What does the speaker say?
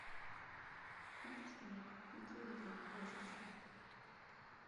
контр страйк видеоигры пользователи